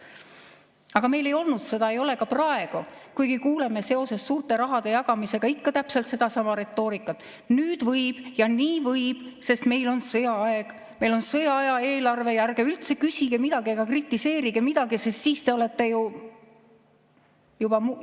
Aga meil ei olnud sõda, ei ole ka praegu, kuigi kuuleme seoses suurte rahade jagamisega ikka täpselt sedasama retoorikat: nüüd võib ja nii võib, sest meil on sõjaaeg, meil on sõjaaja eelarve ja ärge üldse küsige midagi ega kritiseerige midagi, sest siis te olete ju ...